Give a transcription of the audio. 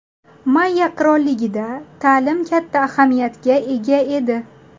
Mayya qirolligida ta’lim katta ahamiyatga ega edi.